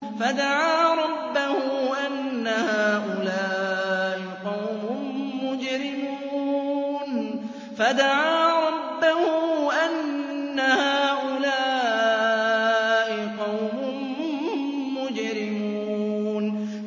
فَدَعَا رَبَّهُ أَنَّ هَٰؤُلَاءِ قَوْمٌ مُّجْرِمُونَ